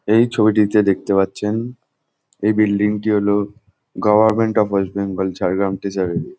এই ছবিটিতে দেখতে পাচ্ছেন এই বিল্ডিং টি হলো government of west Bengal Jhargram treasurer E.